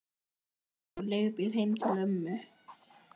Edda tekur leigubíl heim til mömmu.